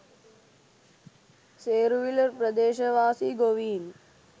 සේරුවිල ප්‍රදේශවාසී ගොවීන්